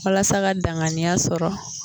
Walasa ka danganiya sɔrɔ